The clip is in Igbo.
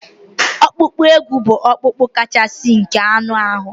Ọkpụkpụ úkwù bụ ọkpụkpụ kachasị nke anụ ahụ